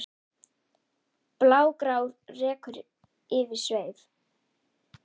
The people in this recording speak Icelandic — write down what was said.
blágrár reykur yfir sveif